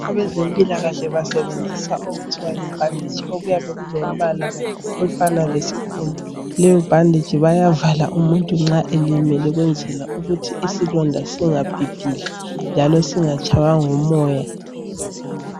Abezempilakahle basebenzisa okuthiwa yibhanditshi okuyabe kolombala ofana lesikhumba, leyo bhanditshi bayavala umuntu nxa elimele ukwenzela ukuthi isilonda singabhibhidli njalo singatshaywa ngumoya.